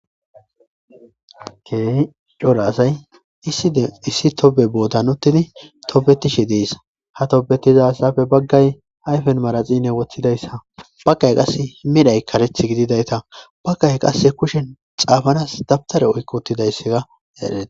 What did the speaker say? Keehi cora asay iissi tobe bootan uttidi tobetishe dees ha tobetizasafe baggay ayfen maraxine wothidayssa bagkay qasse himidhay kareth gididayta bakkay qasse kushen xaafanas dabtare oykko uttidayssega yaadheta.